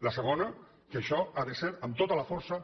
la segona que això ha de ser amb tota la força